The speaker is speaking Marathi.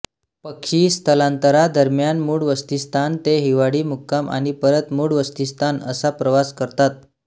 पक्षी स्थलांतरादरम्यान मूळ वसतिस्थान ते हिवाळी मुक्काम आणि परत मूळ वसतिस्थान असा प्रवास करतात